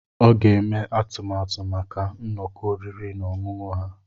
Ọ ga-eme atụmatụ maka nnọkọ oriri na ọṅụṅụ ha.